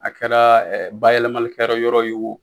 A kɛra bayɛlɛmalikɛyɔrɔ ye wo